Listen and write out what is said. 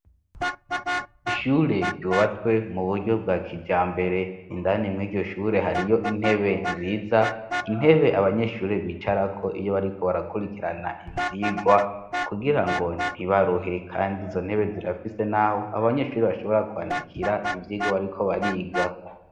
ishure ryubatswe mu buryo bwa kija mbere indani mw'iryoshure hariyo intebe nziza intebe abanyeshuri bicara ko iyo bariko barakurikirana ivyigwa kugira ngo ntibaruhe kandi zo ntebe zirafise n'aho abanyeshuri bashobora kwandikira ivyigwa bariko bariga